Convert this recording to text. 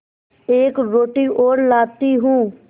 एक रोटी और लाती हूँ